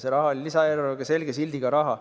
See raha oli lisaeelarves selge sildiga raha.